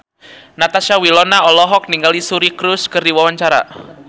Natasha Wilona olohok ningali Suri Cruise keur diwawancara